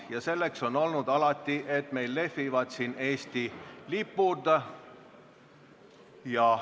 Ja selleks on olnud alati, et meil lehvivad siin Eesti lipud.